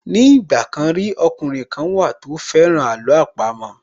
Ní ìgbà kan rí, ọkùnrin kan wà tó fẹ́ràn àló àpamọ́